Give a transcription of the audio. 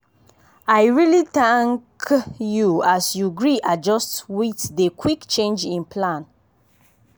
i really thank k you as you gree adjust with dey quick change in plan.